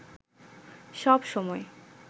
সব সময়